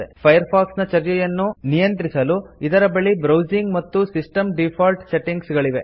Firefox ನ ಚರ್ಯೆಯನ್ನು ನಿಯಂತ್ರಿಸಲು ಇದರ ಬಳಿ ಬ್ರೌಸಿಂಗ್ ಮತ್ತು ಸಿಸ್ಟಮ್ ಡಿಫಾಲ್ಟ್ ಸೆಟ್ಟಿಂಗ್ಸ್ ಗಳಿವೆ